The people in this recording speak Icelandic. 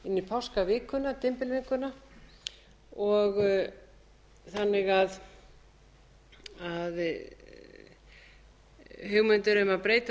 verið sett inn í páskavikunni dymbilviku þannig að hugmynd um að breyta